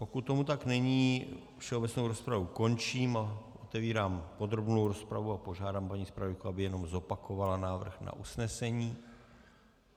Pokud tomu tak není, všeobecnou rozpravu končím a otevírám podrobnou rozpravu a požádám paní zpravodajku, aby jenom zopakovala návrh na usnesení.